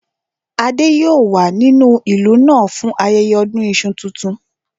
Adé yòó wà nínú ìlú náà fún ayẹyẹ ọdún iṣu tuntun